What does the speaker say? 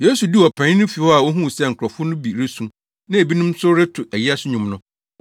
Yesu duu ɔpanyin no fi hɔ a ohuu sɛ nkurɔfo no bi resu na ebinom reto ayiase nnwom no,